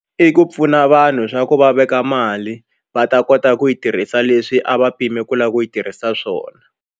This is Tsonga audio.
I ku pfuna vanhu swa ku va veka mali va ta kota ku yi tirhisa leswi a va pime ku lava ku yi tirhisa swona.